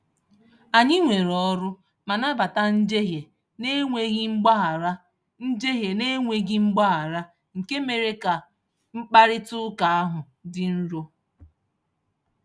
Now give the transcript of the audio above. Anyị weere ọrụ ma nabata njehie na-enweghị mgbaghara, njehie na-enweghị mgbaghara, nke mere ka mkparịtaụka ahụ dị nro.